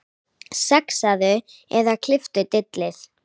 Saxaðu eða klipptu dillið.